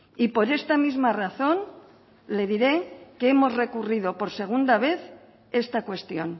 y por esta misma razón le diré que hemos recurrido por segunda vez esta cuestión